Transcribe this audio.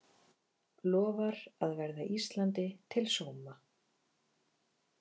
Lofar að verða Íslandi til sóma